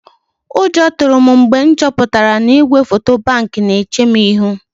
Ụjọ tụrụ m mgbe m chọpụtara na igwefoto Bank na-eche m ihu.